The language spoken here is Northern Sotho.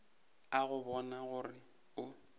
a go bona gore o